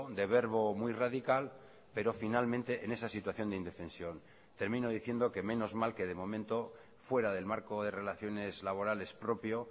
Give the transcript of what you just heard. de verbo muy radical pero finalmente en esa situación de indefensión termino diciendo que menos mal que de momento fuera del marco de relaciones laborales propio